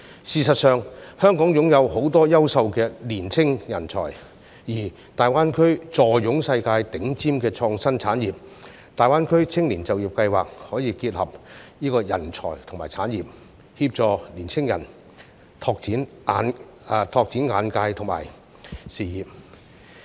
事實上，香港擁有很多優秀的年輕人才，而大灣區坐擁世界頂尖的創新產業，大灣區青年就業計劃可以結合人才及產業，協助年輕人拓展眼界及事業。